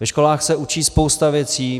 Ve školách se učí spousta věcí.